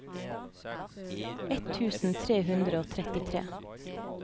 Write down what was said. ett tusen tre hundre og trettitre